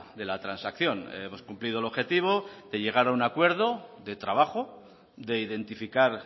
de la transacción hemos cumplido el objetivo de llegar a un acuerdo de trabajo de identificar